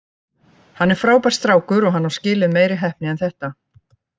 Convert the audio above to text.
Hann er frábær strákur og hann á skilið meiri heppni en þetta.